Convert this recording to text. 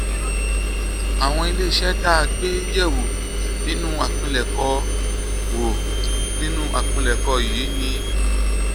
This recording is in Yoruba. àwọn ilé iṣẹ́ tá a gbé yẹ̀ wò nínú àpilẹ̀kọ wò nínú àpilẹ̀kọ yìí ni